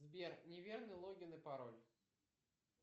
сбер неверный логин и пароль